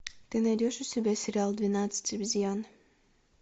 ты найдешь у себя сериал двенадцать обезьян